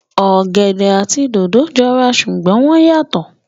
Ọ̀gẹ̀dẹ̀ àti dòdò jọ ra ṣùgbọ́n wọ́n yàtọ̀